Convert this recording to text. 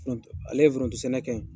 foronte ale ye foronto sɛnɛ kɛ